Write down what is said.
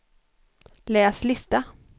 läs lista